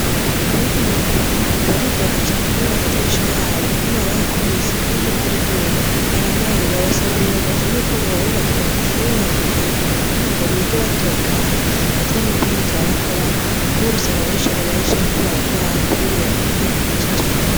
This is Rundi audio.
Abiga mu wa gatanu baridoga cane kubera amadirisha yabo inkuba yarayakubise kandi imvura iguye baranyagigwa, basaba ubuyobozi yuko bobubakira amashure ya kijambere kugira ngo bige batunganye ata n'imbeho iriko irabakorako kubera usanga abanyeshure benshi bariko baragwara kubera imbeho nyinshi cane.